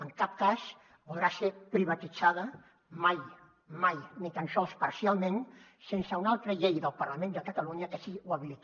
en cap cas podrà ser privatitzada mai mai ni tan sols parcialment sense una altra llei del parlament de catalunya que així ho habiliti